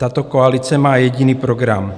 Tato koalice má jediný program.